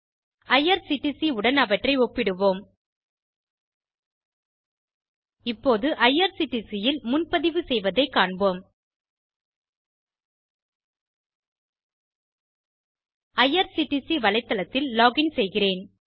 IRCTC உடன் அவற்றை ஒப்பிடுவோம் இப்போது ஐஆர்சிடிசி ல் முன்பதிவு செய்யவதை காண்போம் ஐஆர்சிடிசி வலைத்தளத்தில் லோகின் செய்கிறேன்